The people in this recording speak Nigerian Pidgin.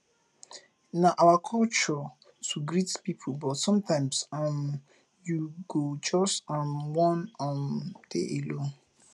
na our culture to greet pipo but sometimes um you go just um wan um dey alone